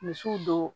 Misiw don